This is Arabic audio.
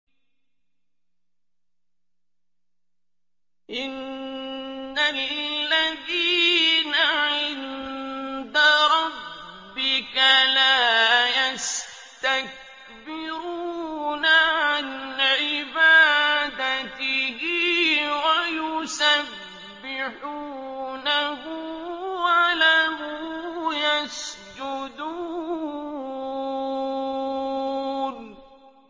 إِنَّ الَّذِينَ عِندَ رَبِّكَ لَا يَسْتَكْبِرُونَ عَنْ عِبَادَتِهِ وَيُسَبِّحُونَهُ وَلَهُ يَسْجُدُونَ ۩